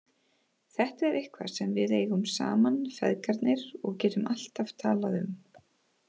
Þetta er eitthvað sem við eigum saman feðgarnir og getum alltaf talað um.